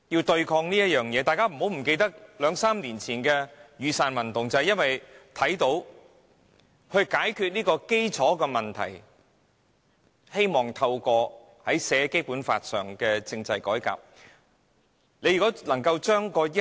大家不要忘記，約3年前的雨傘運動便是因為他們看到問題的核心，希望透過《基本法》列明的政制改革加以解決。